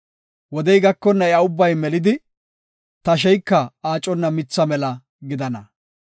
Wodey gakonna iya ubbay melidi tasheyka aaconna mitha mela gidana.